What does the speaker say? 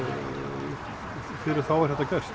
fyrir þá er þetta gert